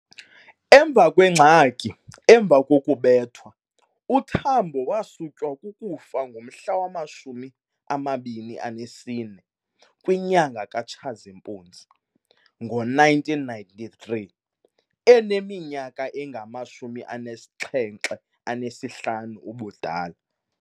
Emva kwengxaki emva kokubethwa, uTambo waswutywa kukufa ngomhla wama 24 kwinyanga ka Tshazimpuzi ngo-1993 eneminyaka engama-75 ubudala.